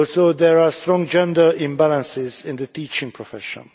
There are also strong gender imbalances in the teaching profession.